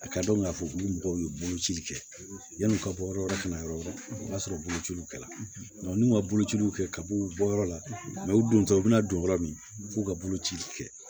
A ka dɔn k'a fɔ k'u bɛ mɔgɔw ye boloci kɛ yan'u ka bɔ yɔrɔ wɛrɛ kana yɔrɔ yɔrɔ o y'a sɔrɔ bolociw kɛla n'u ma bolociw kɛ ka b'u bɔ yɔrɔ la u don tɛ u bɛna don yɔrɔ min f'u ka boloci kɛ